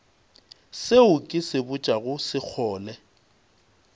seo ke se botšago sekgole